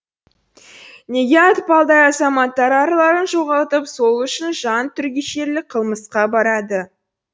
неге атпалдай азаматтар арларын жоғалтып сол үшін жан түршігерлік қылмысқа барады